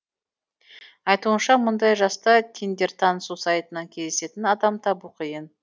айтуынша мұндай жаста тиндер танысу сайтынан кездесетін адам табу қиын